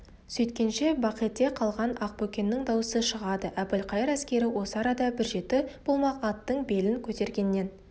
сөйткенше бақете қалған ақбөкеннің даусы шығады әбілқайыр әскері осы арада бір жеті болмақ аттың белін көтергеннен